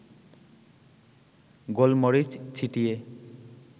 গোলমরিচ ছিটিয়ে